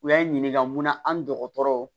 U y'an ɲininka mun na an dɔgɔtɔrɔ